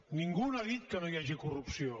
ningú no ha dit que no hagi corrupció